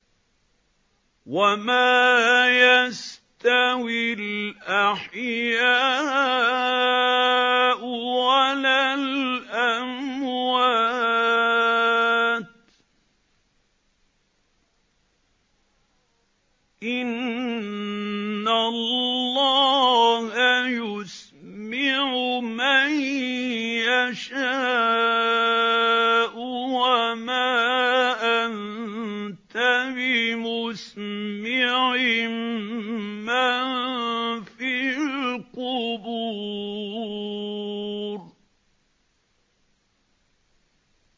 وَمَا يَسْتَوِي الْأَحْيَاءُ وَلَا الْأَمْوَاتُ ۚ إِنَّ اللَّهَ يُسْمِعُ مَن يَشَاءُ ۖ وَمَا أَنتَ بِمُسْمِعٍ مَّن فِي الْقُبُورِ